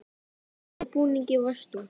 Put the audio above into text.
Í hvernig búningi varst þú?